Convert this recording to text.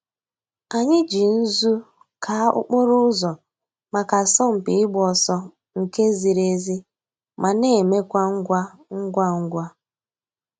Ànyị̀ jì nzù káa òkpòrò̩ ǔzọ̀ mǎká àsọ̀mpị̀ ị̀gba òsọ̀ nke zìrì èzí ma na emekwa ngwa ngwa ngwa.